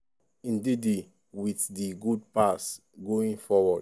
ndidi wit di good pass going forward.